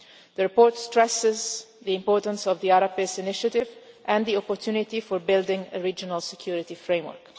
The report stresses the importance of the Arab Peace Initiative and the opportunity for building a regional security framework.